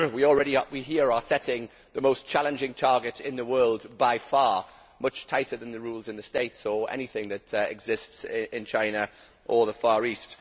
We are setting the most challenging targets in the world by far, much tighter than the rules in the States or anything that exists in China or the Far East.